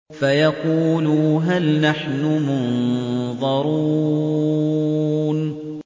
فَيَقُولُوا هَلْ نَحْنُ مُنظَرُونَ